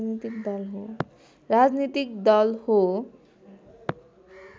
राजनीतिक दल हो